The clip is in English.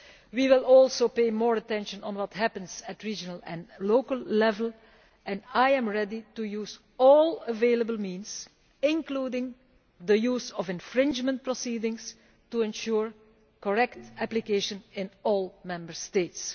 We will also pay more attention to what happens at regional and local level, and I am ready to use all available means, including the use of infringement proceedings, to ensure correct application in all Member States.